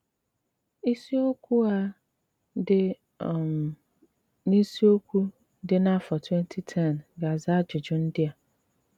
Ísíokwu á dị́ um n’ísíokwu dí n’àfọ́ 2010 gà-àzà ájụjụ ndí à.